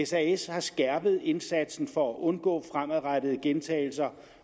sas har skærpet indsatsen for at undgå fremadrettede gentagelser